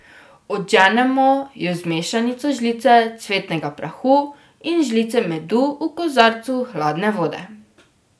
Odženemo jo z mešanico žlice cvetnega prahu in žlice medu v kozarcu hladne vode.